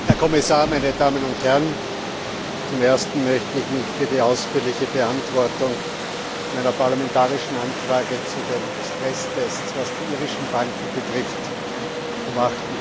Herr Präsident, Herr Kommissar, meine Damen und Herren! Zum Ersten möchte ich mich für die ausführliche Beantwortung meiner parlamentarischen Anfrage zu den Stresstests, was die irischen Banken betrifft, vom